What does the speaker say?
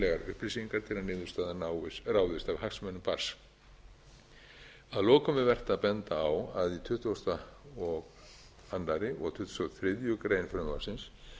upplýsingar til að niðurstaða ráðist af hagsmunum barns að lokum er vert að benda á að í tuttugasta og öðrum og tuttugasta og þriðju greinar frumvarpsins